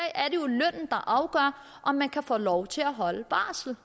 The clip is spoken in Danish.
afgør om man kan få lov til at holde barsel